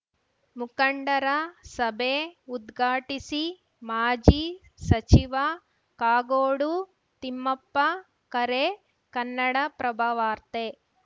ಮುಖಂಡರ ಸಭೆ ಉದ್ಘಾಟಿಸಿ ಮಾಜಿ ಸಚಿವ ಕಾಗೋಡು ತಿಮ್ಮಪ್ಪ ಕರೆ ಕನ್ನಡಪ್ರಭವಾರ್ತೆ